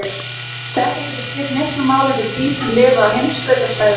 Þetta getur skipt miklu máli fyrir dýr sem lifa á heimskautasvæðunum.